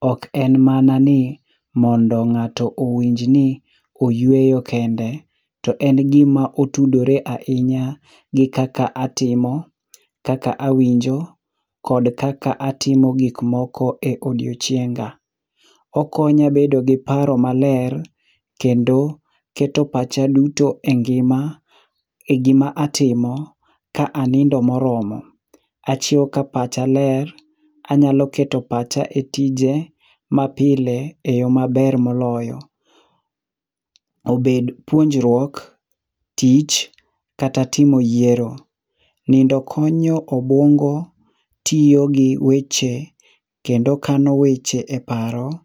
ok en mana ni mondo ng'ato owinj ni oyueyo kende, to en gima otudore ahinya gi kaka atimo, kaka awinjo kod kaka atimo gik moko e odiechienga. Okonya bedo gi paro maler, kendo keto pacha duto e ngima e gima atimo ka anindo moromo. Achiew ka pacha ler, anyalo keto pacha e tije mapile eyo maber moloyo. Obed puonjruok, tich, kata timo yiero. Nindo konyo obuongo tiyo gi weche kendo kano weche e paro